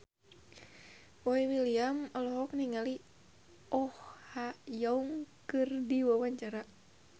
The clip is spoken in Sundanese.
Boy William olohok ningali Oh Ha Young keur diwawancara